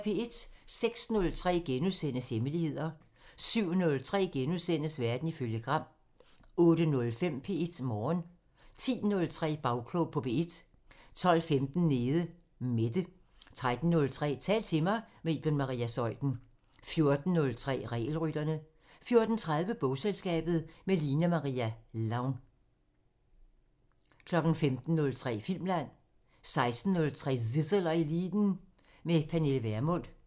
06:03: Hemmeligheder * 07:03: Verden ifølge Gram * 08:05: P1 Morgen 10:03: Bagklog på P1 12:15: Nede Mette 13:03: Tal til mig – med Iben Maria Zeuthen 14:03: Regelrytterne 14:30: Bogselskabet – med Line-Maria Lång 15:03: Filmland 16:03: Zissel og Eliten: Med Pernille Vermund